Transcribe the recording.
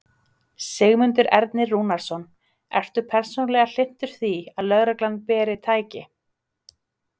Sigmundur Ernir Rúnarsson: Ertu persónulega hlynntur því að lögreglan beri. tæki?